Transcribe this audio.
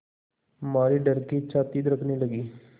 मारे डर के छाती धड़कने लगी